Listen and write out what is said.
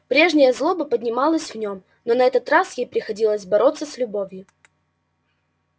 прежняя злоба поднималась в нём но на этот раз ей приходилось бороться с любовью